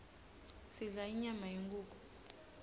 sidla inyama yenkhukhu